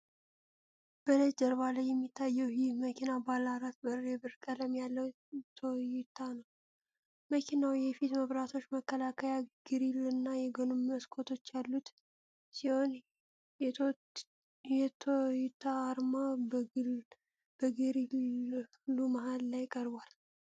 በነጭ ጀርባ ላይ የሚታየው ይህ መኪና፣ ባለ አራት በር የብር ቀለም ያለው ቶዮታ ነው። መኪናው የፊት መብራቶች፣ መከላከያ ግሪል እና የጎን መስኮቶች ያሉት ሲሆን የቶዮታ አርማ በግሪሉ መሃል ላይ ቀርቧል።